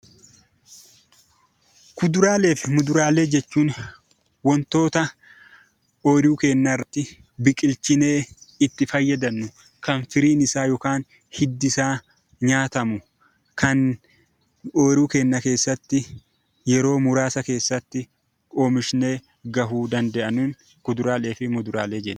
Kuduraalee fi muduraalee jechuun waantota ooyiruu keenya irratti biqilchinee itti fayyadamnu , kan firiin isaa yookaan hiddi isaa nyaatamu, kan ooyiruu keenya keessatti yeroo muraasa keessatti oomishnee gahuu danda'an kuduraalee fi muduraalee jenna.